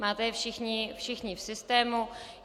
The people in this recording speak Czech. Máte je všichni v systému.